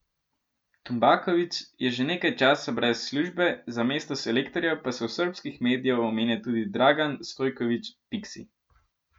Tumbaković je že nekaj časa brez službe, za mesto selektorja pa se v srbskih medijev omenja tudi Dragan Stojković Piksi.